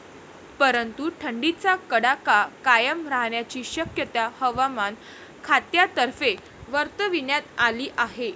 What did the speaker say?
परंतु, थंडीचा कडाका कायम राहण्याची शक्यता हवामान खात्यातर्फे वर्तविण्यात आली आहे.